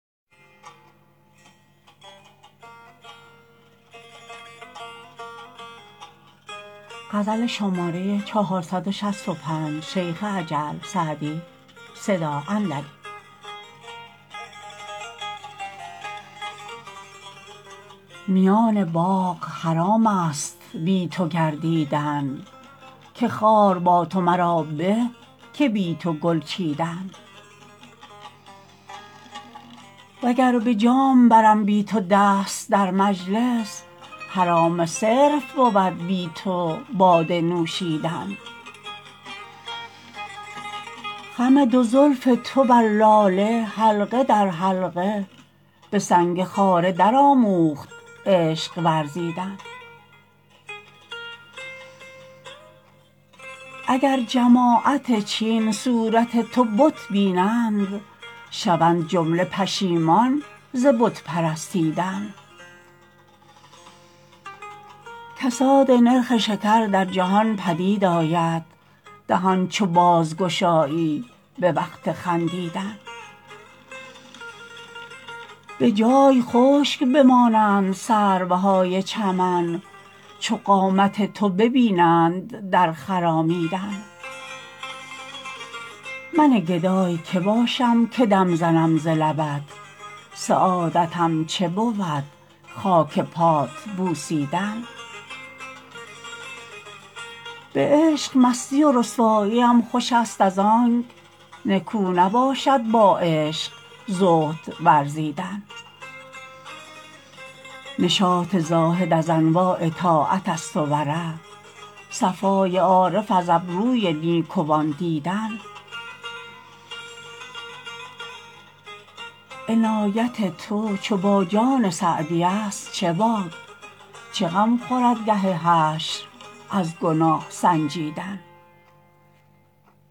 میان باغ حرام است بی تو گردیدن که خار با تو مرا به که بی تو گل چیدن و گر به جام برم بی تو دست در مجلس حرام صرف بود بی تو باده نوشیدن خم دو زلف تو بر لاله حلقه در حلقه به سنگ خاره درآموخت عشق ورزیدن اگر جماعت چین صورت تو بت بینند شوند جمله پشیمان ز بت پرستیدن کساد نرخ شکر در جهان پدید آید دهان چو بازگشایی به وقت خندیدن به جای خشک بمانند سروهای چمن چو قامت تو ببینند در خرامیدن من گدای که باشم که دم زنم ز لبت سعادتم چه بود خاک پات بوسیدن به عشق مستی و رسواییم خوش است از آنک نکو نباشد با عشق زهد ورزیدن نشاط زاهد از انواع طاعت است و ورع صفای عارف از ابروی نیکوان دیدن عنایت تو چو با جان سعدی است چه باک چه غم خورد گه حشر از گناه سنجیدن